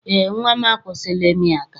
Eé, nnwa m akwụsịla ịmị aka.